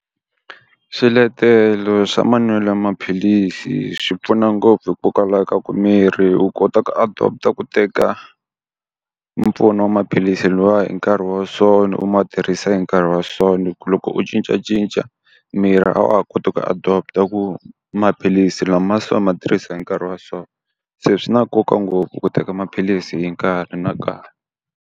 Swiletelo swa manwelo ya maphilisi swi pfuna ngopfu hikokwalaho ka ku miri u kota ku adopt-a ku teka, mpfuno wa maphilisi lawa hi nkarhi wa so u ma tirhisa hi nkarhi wa so. Hikuva loko u cincacinca, miri a wa ha koti ku adopt-a ku maphilisi lamaya se u ma tirhisa hi nkarhi wa so. Se swi na nkoka ngopfu ku teka maphilisi hi nkarhi na nkarhi.